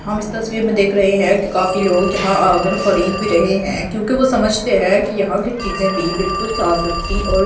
हम इस तस्वीर में देख रहे हैं कि काफी लोग यहां आकर खरीद भी रहे हैं क्योंकि वो समझते हैं कि यहां की चीजें भी बिल्कुल साफ सुथरी और --